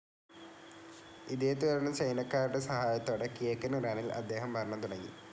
ഇതേത്തുടർന്ന് ചൈനക്കാരുടെ സഹായത്തോടെ കിഴക്കൻ ഇറാനിൽ അദ്ദേഹം ഭരണം തുടങ്ങി.